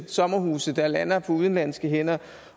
sommerhuse der lander på udenlandske hænder